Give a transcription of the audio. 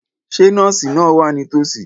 Ṣé nọ́ọ̀sì náà wà nítòsí?